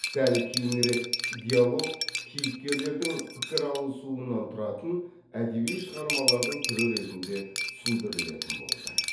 сәл кейінірек диалог кейіпкерлердің пікір алысуынан тұратын әдеби шығармалардың түрі ретінде түсіндірілетін болды